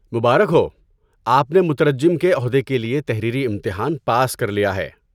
مبارک ہو! آپ نے مترجم کی عہدے کے لیے تحریری امتحان پاس کر لیا ہے۔